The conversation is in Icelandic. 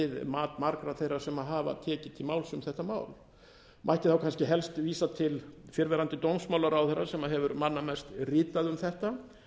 að margra þeirra sem hafa tekið til máls um þetta mál mætti þá kannski helst vísa til fyrrverandi dómsmálaráðherra sem hefur manna mest ritað um þetta